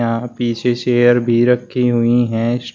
हा पीछे चेयर भी रखी हुई है।